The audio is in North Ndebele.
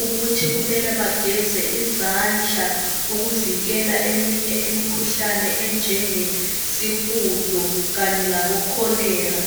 ukuthi kumele bageze izandla, ukuvikela eminye imkhuhlane enjengesihudo kanye labo cholera.